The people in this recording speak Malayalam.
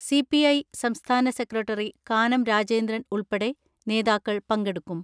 സി.പി.ഐ സംസ്ഥാന സെക്രട്ടറി കാനം രാജേന്ദ്രൻ ഉൾപ്പെടെ നേതാക്കൾ പങ്കെടുക്കും.